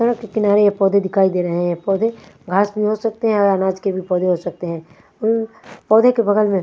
सड़क के किनारे ये पौधे दिखाई दे रहे हैं पौधे घास भी हो सकते है और अनाज के हो सकते हैं पौधे के बगल में--